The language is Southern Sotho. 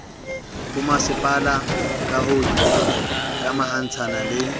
bomasepala ka ho ikamahantsha le